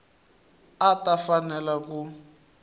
a a ta fanela ku